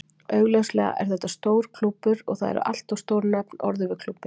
Augljóslega er þetta stór klúbbur og það eru alltaf stór nöfn orðuð við klúbbinn.